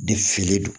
De fili don